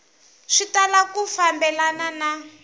swi tala ku fambelana na